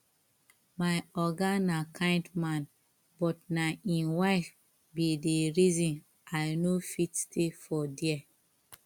my oga na kind man but na im wife be the reason i no fit stay for there